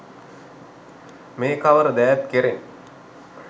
මේ කවර දෑත් කෙරෙන්